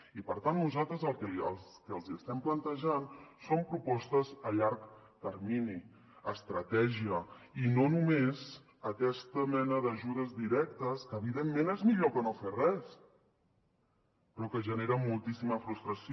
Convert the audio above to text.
i per tant nosaltres el que els estem plantejant són propostes a llarg termini estratègia i no només aquesta mena d’ajudes directes que evidentment és millor que no fer res però que generen moltíssima frustració